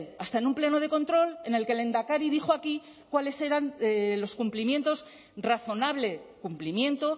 hasta en un pleno de control en el que el lehendakari dijo aquí cuáles eran los cumplimientos razonable cumplimiento